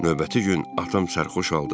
Növbəti gün atam sərxoş oldu.